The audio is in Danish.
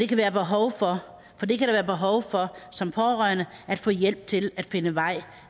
kan være behov for som pårørende at få hjælp til at finde vej